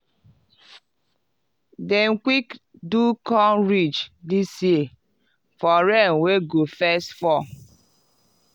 dem quick do corn ridge this year for rain wey go first fall.